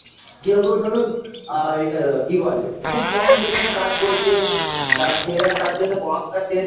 কেউ কেউ ধরুন আ এই কি বলে খুব কম বেতনে কাজ করছে তার ছেলেরা তার জন্য পড়াশোনা ছেড়ে দি